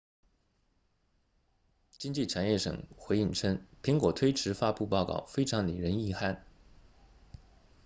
经济产业省回应称苹果推迟发布报告非常令人遗憾